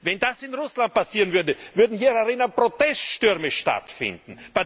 Wenn das in Russland passieren würde, würden hier drinnen Proteststürme stattfinden.